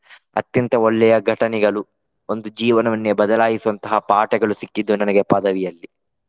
ಅತ್ಯಂತ ಒಳ್ಳೆಯ ಘಟನೆಗಳು ಒಂದು ಜೀವನವನ್ನೇ ಬದಲಾಯಿಸುವಂತಹ ಪಾಠಗಳು ಸಿಕ್ಕಿದ್ದು ನನಗೆ ಪದವಿಯಲ್ಲಿ.